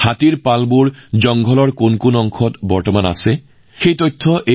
হমৰ হাতীহমৰ গোঠ অনুষ্ঠানত অৰণ্যৰ কোনটো অঞ্চলৰ মাজেৰে হাতীৰ জাকটো পাৰ হৈ গৈছে সেই কথা কোৱা হৈছে